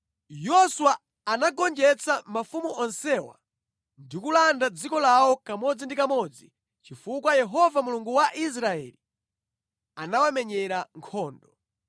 Yoswa anagonjetsa mafumu onsewa ndi kulanda dziko lawo kamodzinʼkamodzi chifukwa Yehova Mulungu wa Israeli anawamenyera nkhondo.